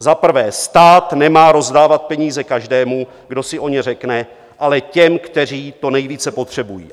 Za prvé, stát nemá rozdávat peníze každému, kdo si o ně řekne, ale těm, kteří to nejvíce potřebují.